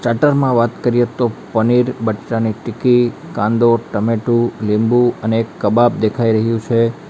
Platter માં વાત કરીએ તો પનીર બટેટાની ટીક્કી કાંદો ટમેટું લીંબુ અને એક કબાબ દેખાઈ રહ્યું છે.